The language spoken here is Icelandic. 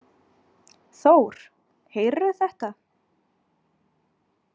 Þór, heyrðirðu þetta?